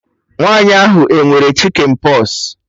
Nwaanyi ahụ e nwere chikịn pọs?